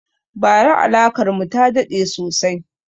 Ba ra alakar mu ta daɗe sosai